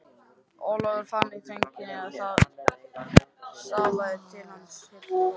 Ólafur fann í þögninni að það stafaði til hans illu.